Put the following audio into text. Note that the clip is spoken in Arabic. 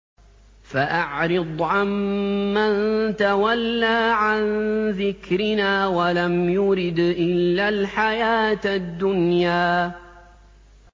فَأَعْرِضْ عَن مَّن تَوَلَّىٰ عَن ذِكْرِنَا وَلَمْ يُرِدْ إِلَّا الْحَيَاةَ الدُّنْيَا